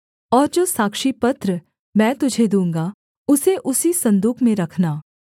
और जो साक्षीपत्र मैं तुझे दूँगा उसे उसी सन्दूक में रखना